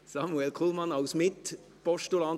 Samuel Kullmann, sprechen Sie als Mitpostulant?